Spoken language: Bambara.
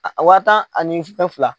A wa tan ani fɛn fila.